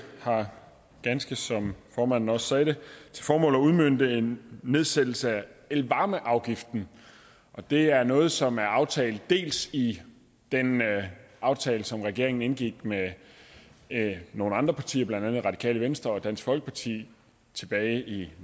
har ganske som formanden også sagde det til formål at udmønte en nedsættelse af elvarmeafgiften og det er noget som er aftalt i den aftale som regeringen indgik med nogle andre partier blandt andet radikale venstre og dansk folkeparti tilbage i